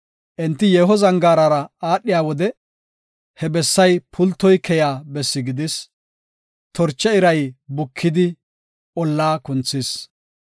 Enti yeeho zangaarara aadhiya wode, he bessay pultoy keyiya bessi gidis; torche iray bukidi ollaa kunthees.